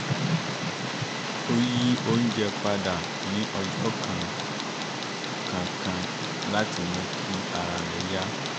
ó yí oúnjẹ padà ní ọjọ́ kan-kankan láti mú kí ara rẹ̀ yá